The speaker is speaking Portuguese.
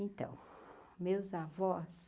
Então, meus avós.